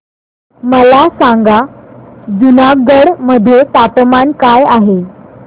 मला सांगा जुनागढ मध्ये तापमान काय आहे